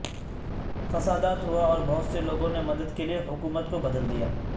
فسادات ہوا اور بہت سے لوگوں نے مدد کے لئے حکومت کو بدل دیا